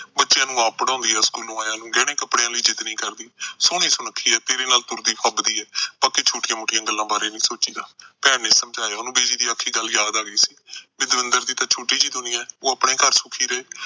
ਬੱਚਿਆਂ ਨੂੰ ਆਪ ਪੜ੍ਹਾਉਂਦੀ ਆ school ਆਇਆ ਨੂੰ, ਗਹਿਣੇ ਕੱਪੜਿਆਂ ਲਈ ਜਿੱਦ ਨਹੀਂ ਕਰਦੀ। ਸੋਹਣੀ ਸੁਣਖੀ ਆ, ਤੇਰੇ ਨਾਲ ਤੁਰਦੀ ਫੱਬਦੀ ਆ, ਬਾਕੀ ਛੋਟੀਆਂ-ਮੋਟੀਆਂ ਗੱਲਾਂ ਬਾਰੇ ਨਹੀਂ ਸੋਚੀਦਾ। ਭੈਣ ਨੇ ਸਮਝਾਇਆ, ਉਹਨੂੰ ਬਿਜੀ ਦੀ ਆਖੀ ਗੱਲ ਯਾਦ ਆ ਗਈ ਸੀ ਕਿ ਦਵਿੰਦਰ ਦੀ ਤਾਂ ਛੋਟੀ ਜਿਹੀ ਦੁਨੀਆ, ਉਹ ਆਪਣੇ ਘਰ ਸੁਖੀ ਰਹੇ।